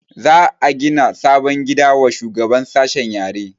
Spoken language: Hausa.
Za a gina sabon gida wa shugaban sashen yare